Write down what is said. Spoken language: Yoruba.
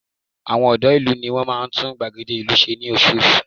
Àwọn ọ̀dọ́ ìlú ní wọn máa ń tún gbàgede ìlú wa ṣe ní oṣooṣù